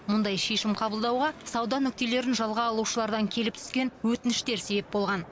мұндай шешім қабылдауға сауда нүктелерін жалға алушылардан келіп түскен өтініштер себеп болған